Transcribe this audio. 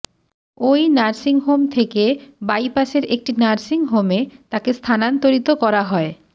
ওই নার্সিংহোম থেকে বাইপাসের একটি নার্সিংহোমে তাঁকে স্থানান্তরিত করা হয়